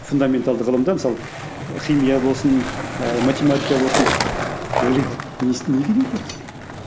фундаменталды ғылымда мысалы химия болсын ыыы математика болсын ойлайды не керегі бар бізге